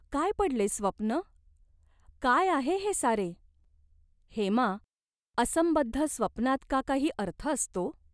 काय पडले स्वप्न ? काय आहे हे सारे ?" "हेमा, असंबद्ध स्वप्नात का काही अर्थ असतो ?